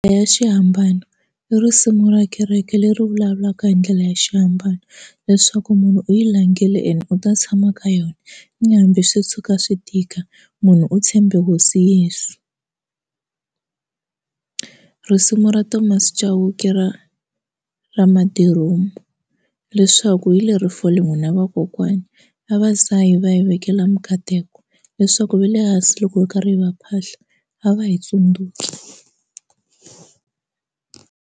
Ya xihambano i risimu ra kereke leri vulavulaka hi ndlela ya xiambalo leswaku munhu u yi langile ene u ta tshama ka yona ni hambi swi suka swi tika munhu u tshembe hosi Yeso risimu ra Thomas Chauke ra ra madiromu leswaku hi le reform n'wina vakokwani vavasati va yi vekela minkateko leswaku ve le hansi loko hi karhi hi va phahla a va hi tsundzuki.